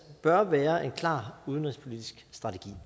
bør være en klar udenrigspolitisk strategi